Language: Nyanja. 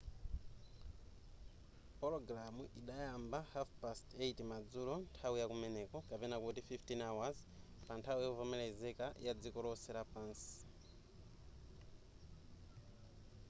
pulogalamu idayamba 8:30 madzulo nthawi ya kumeneko 15.00 pa nthawi yovomelezeka pa dziko lonse